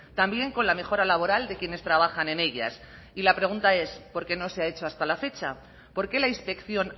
también con la mejora laboral de quienes trabajan en ellas y la pregunta es por qué no se ha hecho hasta la fecha por qué la inspección